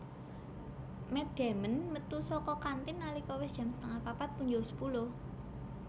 Matt Damon metu saka kantin nalika wis jam setengah papat punjul sepuluh